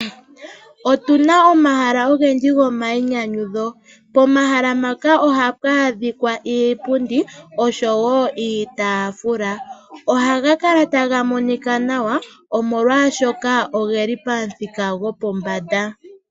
Otuna omahala ogendji go mayinyanyudho pomahala mpano ohapu adhika iipundi oshowo iitaafula. Ohaga kala taga monika nawa omolwashoka oheli pomuthika gwopombanda